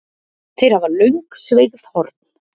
Þeir hafa löng sveigð horn.